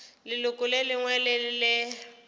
leloko le lengwe le le